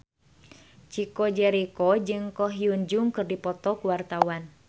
Chico Jericho jeung Ko Hyun Jung keur dipoto ku wartawan